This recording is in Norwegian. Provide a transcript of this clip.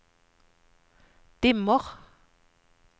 dimmer